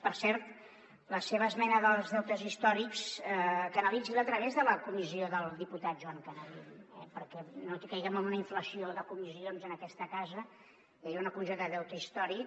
per cert la seva esmena dels deutes històrics canalitzi·la la a través de la comis·sió del diputat joan canadell perquè no caiguem en una inflació de comissions en aquesta casa hi havia una comissió de deute històric